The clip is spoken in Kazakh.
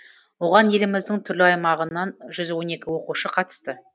оған еліміздің түрлі аймағынан жүз он екі оқушы қатысты